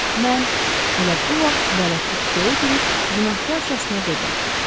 Mən elə bu vaxt bələdçi kupəyə girib günahkarcasına dedi.